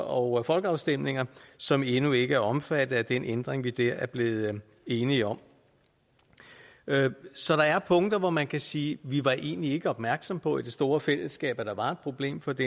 og folkeafstemninger som endnu ikke er omfattet af den ændring vi der er blevet enige om så der er punkter hvor man kan sige vi var egentlig ikke opmærksomme på i det store fællesskab at der var et problem for det